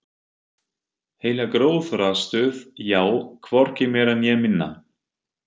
Heila gróðrarstöð, já, hvorki meira né minna.